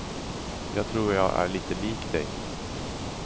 Jag tror jag är lite lik dig.